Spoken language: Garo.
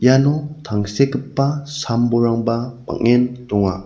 iano tangsekgipa sam-bolrangba bang·en donga.